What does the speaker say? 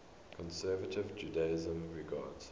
conservative judaism regards